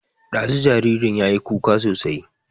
Ɗazu jaririn yayi kuka sosai